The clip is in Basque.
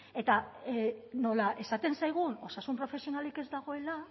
eta nola esaten zaigun osasun profesionalik ez dagoela